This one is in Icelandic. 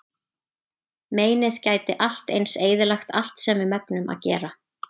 Meinið gæti allt eins eyðilagt allt sem við megnum að gera.